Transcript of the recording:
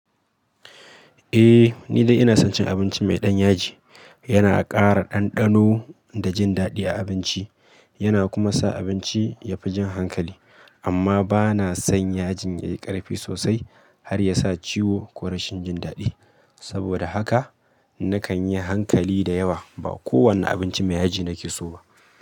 Eh, ni dai ina son cin abinci mai ɗan yaji. Yana ƙara ɗanɗano da jin daɗi a abinci, yana kuma sa abinci ya fi jan hankali. Amma ba na son yajin yayi ƙarfi sosai har yasa ciwo ko rashin jin daɗi. Saboda haka nakan yi hankali da yawa ba kowane abinci mai yaji nake so ba.